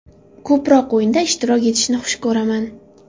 Ko‘proq o‘yinda ishtirok etishni xush ko‘raman.